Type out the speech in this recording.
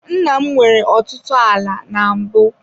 Nna m nwere ọtụtụ ala na mbụ.